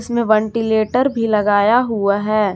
इसमें वटींलेटर भी लगाया हुआ है।